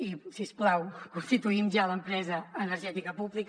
i si us plau constituïm ja l’empresa energètica pública